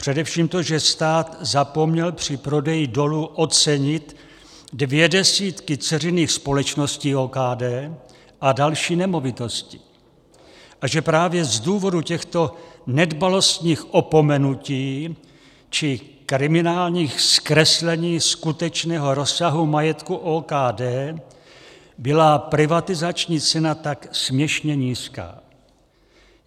Především to, že stát zapomněl při prodeji dolu ocenit dvě desítky dceřiných společností OKD a další nemovitosti a že právě z důvodu těchto nedbalostních opomenutí či kriminálních zkreslení skutečného rozsahu majetku OKD byla privatizační cena tak směšně nízká.